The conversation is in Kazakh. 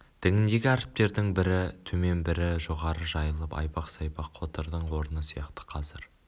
діңіндегі әріптердің бірі төмен бірі жоғары жайылып айбақ-сайбақ қотырдың орны сияқты қазір